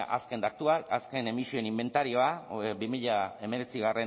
azken datuak azken emisioen inbentarioa bi mila hemeretzi